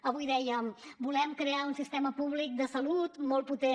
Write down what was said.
avui dèiem volem crear un sistema públic de salut molt potent